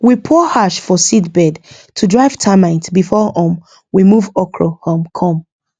we pour ash for seedbed to drive termite before um we move okra um come